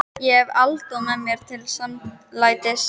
Ég hef Adolf mér til samlætis.